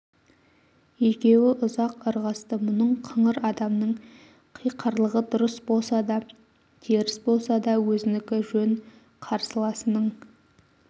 екеуі ұзақ ырғасты мұның қыңыр адамның қиқарлығы дұрыс болса да теріс болса да өзінікі жөн қарсыласының